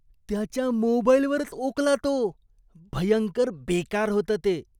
त्याच्या मोबाईलवरच ओकला तो. भयंकर बेकार होतं ते.